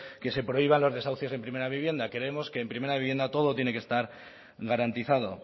que se prohíban los desahucios en primera vivienda creemos que en primera vivienda todo tiene que estar garantizado